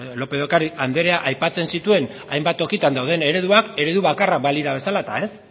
lópez de ocariz andereak aipatzen zituen hainbat tokitan dauden ereduak eredu bakarra balira bezala eta ez